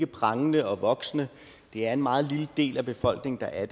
prangende og voksende det er en meget lille del af befolkningen der er